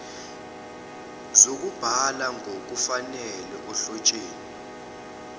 zokubhala ngokufanele ohlotsheni